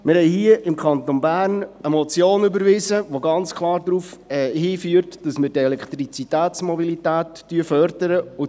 Wir haben hier im Kanton Bern eine Motion überwiesen, die ganz klar dahin führt, dass wir die Elektromobilität fördern.